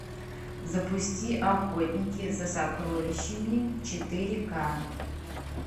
запусти охотники за сокровищами четыре ка